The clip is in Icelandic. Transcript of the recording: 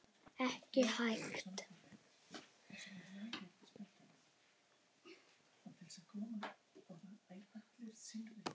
Ekki hægt.